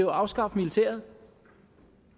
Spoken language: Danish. afskaffe militæret